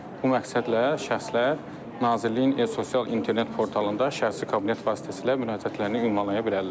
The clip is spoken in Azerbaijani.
Bu məqsədlə şəxslər Nazirliyin sosial internet portalında şəxsi kabinet vasitəsilə müraciətlərini ünvanlaya bilərlər.